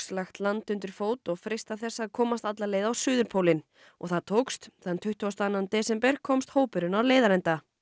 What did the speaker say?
lagt land undir fót og freistað þess að komast alla leið á suðurpólinn og það tókst þann tuttugasta og annan desember komst hópurinn á leiðarenda